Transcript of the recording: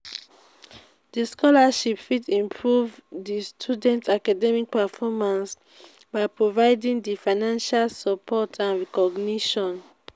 di scholarship fit improve di students' academic performance by providing di financial support and recognition.